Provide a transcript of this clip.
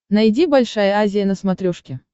найди большая азия на смотрешке